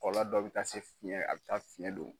Kɔlɔlɔ dɔ bɛ taa se fiyɛn a bɛ taa fiyɛn don.